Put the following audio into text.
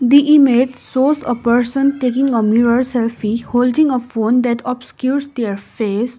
the image shows a person taking a mirror selfie holding a phone that obscures their face.